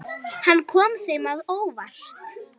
Hann kom þeim á óvart.